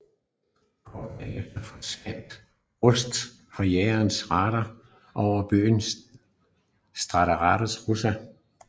Kort derefter forsvandt Rust fra jagernes radar over byen Staraja Russa